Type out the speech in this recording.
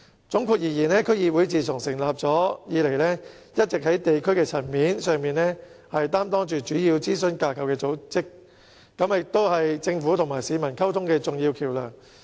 總括而言，區議會自成立以來，一直在地區層面上擔當主要諮詢組織的角色，也是政府與市民溝通的重要橋樑。